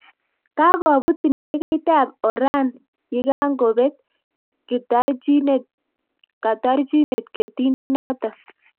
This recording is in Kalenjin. Kakopuut ndekeit ap oraan yikangoopet katarchinet ketindoo notok